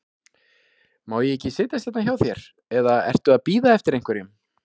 Má ég ekki setjast hérna hjá þér, eða ertu að bíða eftir einhverjum?